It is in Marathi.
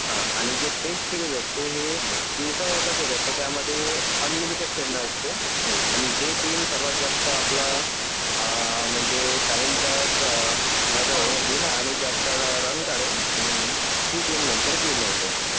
हा आणि जे टेस्ट सिरीज असते हे दिवासवर असते. त्यामध्ये अनलिमिटेड खेळणं असते. आणि जे टीम सर्वात जास्त आपला .. आ .. म्हणजे टाइमच्या आ .. मैदानावरती आणि जास्त रन काढेल ती टीम नंतर विन होते.